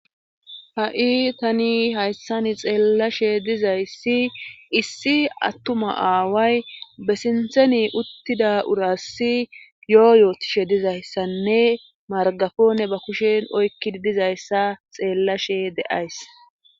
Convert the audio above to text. ha7i tani hayssani xeellashe dizayssi issi attuma aaway be sintheni uttida urassi yo7o yootishe dizayssanne margafone ba kushen oykkidi dizayssa xeellashe de7ays